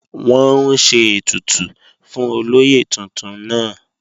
Wọ́n ń ṣe ètùtù fún olóyè tuntun náà